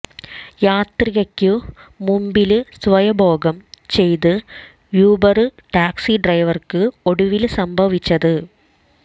യാത്രികയ്ക്കു മുമ്പില് സ്വയംഭോഗം ചെയ്ത യൂബര് ടാക്സി ഡ്രൈവര്ക്ക് ഒടുവില് സംഭവിച്ചത്